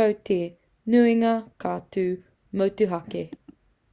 ko te nuinga ka tū motuhake